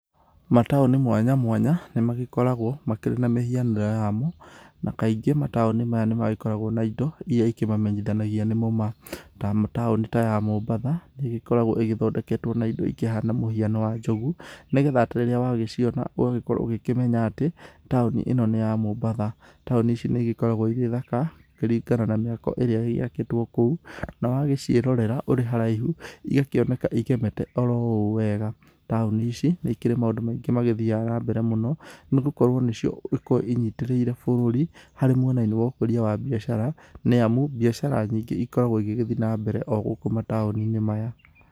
Mataũnĩ mwanya mwanya, nĩ magĩkoragwo makĩrĩ na mĩhianĩre yamo, na kaingĩ mataũni maya nĩ magĩkoragwo na indó iria ikĩmamenyithanagia nimo ma, ta taũni ta ya Mombatha nĩ ĩgĩkoragwo ĩthondeketwo na indo ikĩhana mũhiano wa njogu, nĩgetha atĩ rĩrĩa wagĩciona ũgakorwo ũkĩmenya atĩ, taũni ĩno nĩ ya Mombatha. Taũni ici nĩ igĩkoragwo irĩ thaka, kũringana na mĩako ĩrĩa ĩgĩakĩtwo kũũ, na wagĩciĩrorera ũrĩ haraihu, igakĩoneka igemete oro ũũ wega, taũni ici nĩ ikĩrĩ maũndũ maingĩ magĩthiaga na mbere mũno, nĩ gũkorwo nĩcio igĩkoragwo inyitĩrĩire bũrũri, harĩ mwenainĩ wa ũkũria wa mbiacara, niamu mbiacara nyingĩ ikoragwo igĩgĩthiĩ na mbere o gũkũ mataũni-inĩ maya.